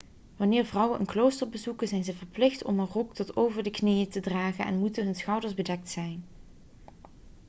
wanneer vrouwen een klooster bezoeken zijn ze verplicht om een rok tot over de knieën te dragen en moeten hun schouders bedekt zijn